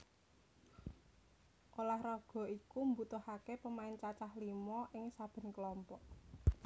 Ulah raga iki mbutuhaké pemain cacah limo ing saben klompok